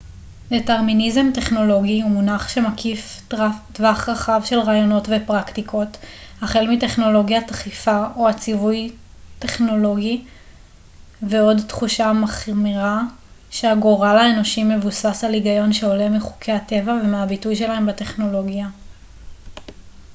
דטרמיניזם טכנולוגי הוא מונח שמקיף טווח רחב של רעיונות ופרקטיקות החל מטכנולוגיית דחיפה או הציווי טכנולוגי ועד תחושה מחמירה שהגורל האנושי מבוסס על היגיון שעולה מחוקי הטבע ומהביטוי שלהם בטכנולוגיה